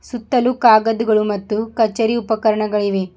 ಸತ್ತಲು ಕಾಗದುಗಳು ಮತ್ತು ಕಚೇರಿ ಉಪಕರಣಗಳು ಇವೆ.